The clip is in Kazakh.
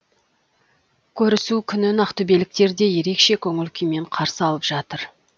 көрісу күнін ақтөбеліктер де ерекше көңіл күймен қарсы алып жатыр